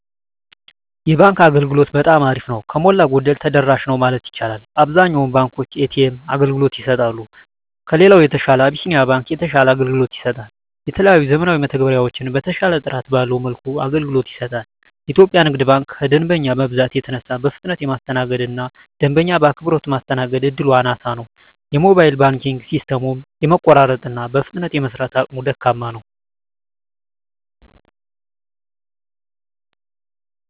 የባንክ አገልግሎት በጠማ አሪፍ ነው። ከሞላ ጎደል ተደራሽ ነው ማለት ይቻላል። አብዛኛውን ባንኮች የኤ.ተ.ኤም አገልግሎት ይሰጣሉ። ከሌላው በተሻለ አብሲኒያ ባንክ የተሻለ አገልግሎት ይሰጣል። የተለያዩ ዘመናዊ መተግበሪያዎችን በተሻለና ጥራት ባለው መልኩ አገልግሎት ይሰጣል። ኢትዮጵያ ንግድ ባንክ ከደንበኛ መብዛት የተነሳ በፍጥነት የማስተናገድ እና ደንበኛ በአክብሮት ማስተናገድ እድሉ አናሳ ነው። የሞባይል ባንኪንግ ሲስተሙም የመቆራረጥ እና በፍጥነት የመስራት አቅሙ ደካማ ነው።